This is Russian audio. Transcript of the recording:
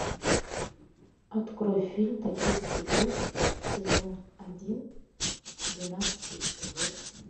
открой фильм токийский гуль сезон один двенадцатый эпизод